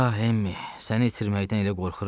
Ah, Emmi, səni itirməkdən elə qorxuram.